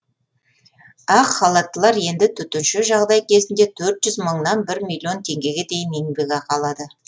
ақ халаттылар енді төтенше жағдай кезінде төрт жүз мыңнан бір миллион теңгеге дейін еңбекақы алады